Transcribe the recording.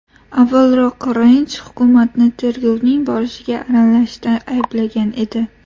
Avvalroq Range hukumatni tergovning borishiga aralashishda ayblagan edi.